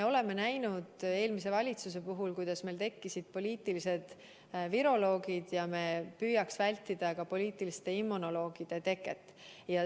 Me nägime eelmise valitsuse puhul, kuidas meil tekkisid poliitilised viroloogid, ja me püüame vältida ka poliitiliste immunoloogide teket.